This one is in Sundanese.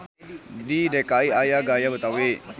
Di DKI aya gaya Betawi.